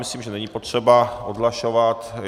Myslím, že není potřeba odhlašovat.